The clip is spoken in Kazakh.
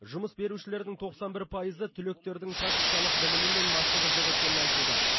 жұмыс берушілердің тоқсан бір пайызы түлектердің практикалық білімі мен машығы жоқ екенін айтуда